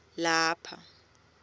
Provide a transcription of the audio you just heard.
lapha